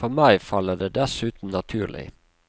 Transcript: For meg faller det dessuten naturlig.